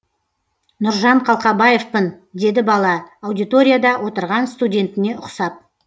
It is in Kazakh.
нұржан қалқабаевпын деді бала аудиторияда отырған студентіне ұқсап